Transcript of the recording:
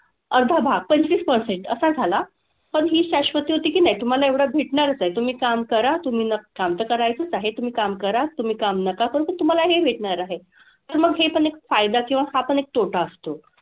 अर्धा भाग, पंचवीस percent असा झाला. पण हि शाश्वती होती की नाही तुम्हाला एवढं भेटणारच आहे. तुम्ही काम करा, तुम्ही न काम तर करायचंच आहे. तुम्ही काम करा, तुम्ही काम नका करू तुम्हाला हे भेटणार आहे. तर मग हे पण एक फायदा किंवा हा पण एक तोटा असतो.